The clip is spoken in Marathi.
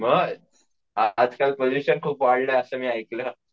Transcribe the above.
आज-काल पॉल्युशन खूप खूप वाढल असं मी ऐकलं